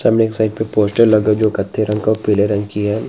सामने साइड पर पोस्टर लगा है जो कत्थे रंग का और का पीले रंग की है।